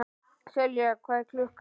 Selja, hvað er klukkan?